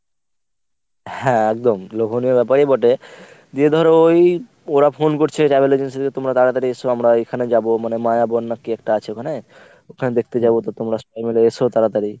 হ্যাঁ একদম লোভনীয় ব্যাপারই বটে। দিয়ে ধর ঐ ওরা phone করছে travel agency তে তোমরা তাড়াতাড়ি এসো আমরা এখানে যাবো মানে মায়াবন না কী একটা আছে ওখানে। ওখানে দেখতে যাব তো তোমরা সবাই মিলে এসো তাড়াতাড়ি।